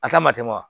A ta ma tɛmɛ wa